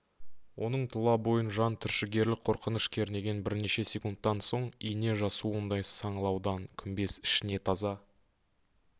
оның тұла бойын жан түршігерлік қорқыныш кернеген бірнеше секундтан соң ине жасуындай саңлаудан күмбез ішіне таза